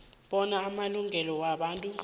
bona amalungelo wobuntu